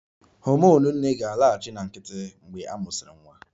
Homonụ nne ga-alaghachi na nkịtị mgbe a mụsịrị nwa